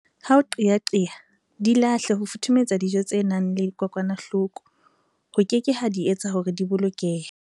Ha o qeaqea, di lahle ho futhumetsa dijo tse nang le kokwanahloko ho keke ha di etsa hore di bolokehe!